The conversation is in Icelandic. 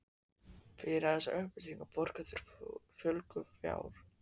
Fyrir þessar upplýsingar borga þeir fúlgur fjár.